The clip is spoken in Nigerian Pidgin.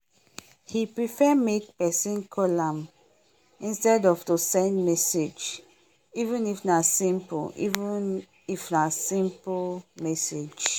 he prefer make person callam instead of to send message even if na simple if na simple message.